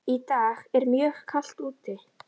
Í dag er mjög kalt úti.